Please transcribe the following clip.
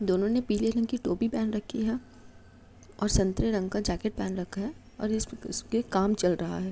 दोनों ने पीले रंग की टोपी पेहेन रखी है और संतरे रंग का जैकेट पेहेन रखा है और इसक इसपे काम चल रहा है।